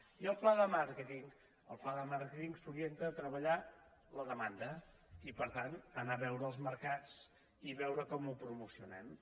i el pla de màrqueting el pla de màrqueting s’orienta a treba·llar la demanda i per tant anar a veure els mercats i veure com ho promocionem